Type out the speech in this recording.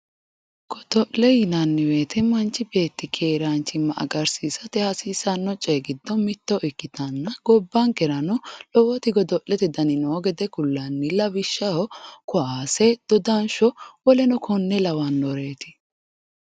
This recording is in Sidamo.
godo'lete yinanni wote manchi beetti keeraanchimma agarsiisate hasiisanno coyi giddo mitto ikkitanna gobbankerano lowoti godo'lete dani noo gede kullanni lawishshaho kaase dodansho woleno konne lawannoreeti woleno konne lawannoreeti.